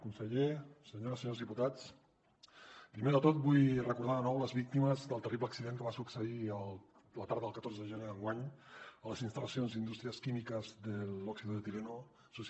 conseller senyores i senyors diputats primer de tot vull recordar de nou les víctimes del terrible accident que va succeir la tarda del catorze de gener d’enguany a les instal·lacions d’industrias químicas del óxido de etileno s